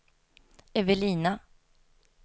Evelina